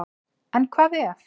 En hvað ef?